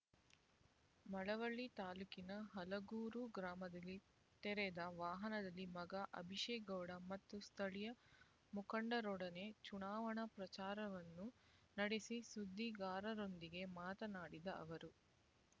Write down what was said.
ಮಳವಳ್ಳಿ ತಾಲ್ಲೂಕಿನ ಹಲಗೂರು ಗ್ರಾಮದಲ್ಲಿ ತೆರೆದ ವಾಹನದಲ್ಲಿ ಮಗ ಅಭಿಷೇಕ್ ಗೌಡ ಮತ್ತು ಸ್ಥಳೀಯ ಮುಖಂಡರೊಡನೆ ಚುನಾವಣಾ ಪ್ರಚಾರವನ್ನು ನಡೆಸಿ ಸುದ್ದಿಗಾರರೊಂದಿಗೆ ಮಾತನಾಡಿದ ಅವರು